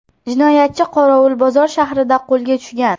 Jinoyatchi Qorovulbozor shahrida qo‘lga tushgan.